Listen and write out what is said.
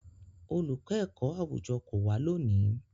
Olùkọ́ ẹ̀kọ́-àwùjọ kò wá lónìí.